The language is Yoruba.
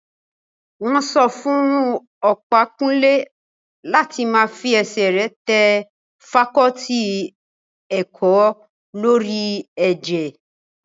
Wọ́n sọ fún Ọ̀pákúnlé láti má fi ẹsẹ̀ rẹ̀ tẹ fakọọti ti ẹ̀kọ́ lórí ẹ̀jẹ̀